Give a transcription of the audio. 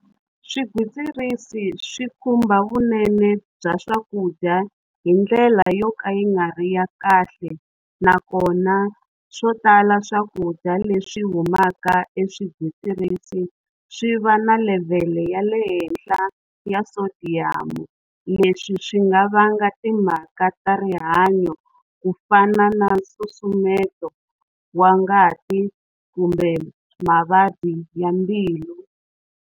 Swigwitsirisi swi khumba vunene bya swakudya hindlela yo ka yi nga ri ya kahle, nakona swo tala swakudya leswi humaka eswigwitsirisini swi va na level ya le henhla ya sodium. Leswi swi nga va nga timhaka ta rihanyo ku fana na nsusumeto wa ngati kumbe mavabyi ya mbilu.